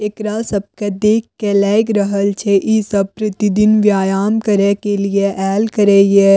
एकरा सबके देख के लाएग रहल छै इ सब प्रतिदिन व्यायाम करे के लिए आएल करे ये।